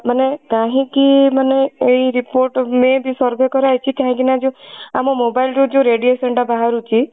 ମାନେ କାହିଁକି ମାନେ ଏଇ report may be survey କରା ହେଇଛି କାହିଁକି ନା ଯୋ ଆମ mobile ର ଯୋ radiation ଟା ବାହାରୁଛି